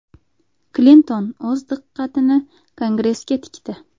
Klinton o‘z diqqatini Kongressga tikdi.